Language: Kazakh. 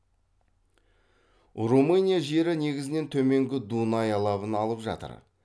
румыния жері негізінен төменгі дунай алабын алып жатыр